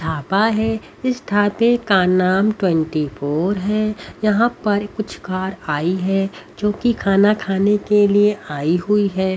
थापा है इस थापे का नाम ट्वेंटी फोर है यहां पर कुछ कार आई है जो कि खाना खाने के लिए आई हुई है।